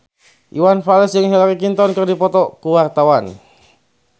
Iwan Fals jeung Hillary Clinton keur dipoto ku wartawan